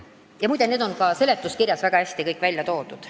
Ja muide, need on seletuskirjas kõik väga hästi välja toodud.